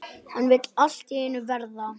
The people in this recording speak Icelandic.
Hann vill allt í einu verða